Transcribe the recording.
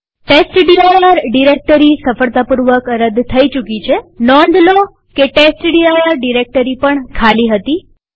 test dir directory સફળતાપૂર્વક રદ થઇ ચુકી છેનોંધ રાખો કે ટેસ્ટડિર ડિરેક્ટરી પણ ખાલી હતી